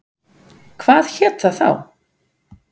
Hvað hét það þá?